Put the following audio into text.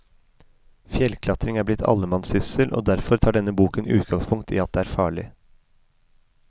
Fjellklatring er blitt allemannssyssel, og derfor tar denne boken utgangspunkt i at det er farlig.